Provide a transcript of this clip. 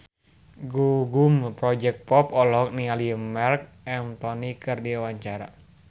Gugum Project Pop olohok ningali Marc Anthony keur diwawancara